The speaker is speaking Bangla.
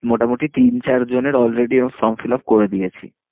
মোটামুটি তিন চার জনের already এরকম form fill up করে দিয়েছি।